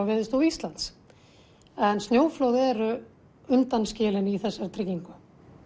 Veðurstofu Íslands en snjóflóð eru undanskilin í þessari tryggingu